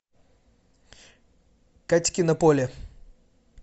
катькино поле